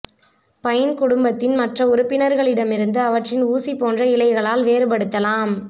pine குடும்பத்தின் மற்ற உறுப்பினர்களிடமிருந்து அவற்றின் ஊசி போன்ற இலைகளால் வேறுபடுத்தலாம்